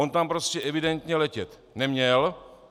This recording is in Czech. On tam prostě evidentně letět neměl.